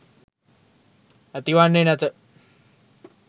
ඇතිවන්නේ නැත